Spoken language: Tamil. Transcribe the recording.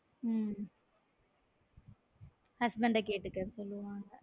உம் husband அ கேட்டுக்கோ சொல்லுவாங்